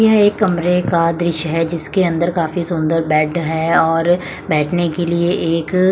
यह एक कमरे का दृश्य है जिसके अंदर काफी सुंदर बेड है और बैठने के लिए एक--